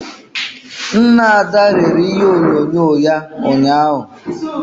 Nna Ada rere ihe onyonyo ya ụnyahụ